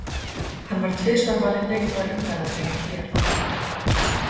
Hann var tvisvar valinn leikmaður umferðarinnar hér á Fótbolta.net.